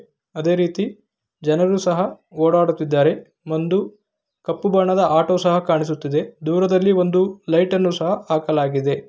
ಅದೇ ರೀತಿ ಜನರು ಸಹ ಓಡಾಡುತ್ತಿದ್ದಾರೆ ಒಂದು ಕಪ್ಪು ಬಣ್ಣದ ಆಟೋ ಸಹ ಕಾಣಿಸುತ್ತಿದೆ ದೂರದಲ್ಲಿ ಒಂದು ಲೈಟ ನ್ನು ಸಹ ಹಾಕಲಾಗಿದೆ.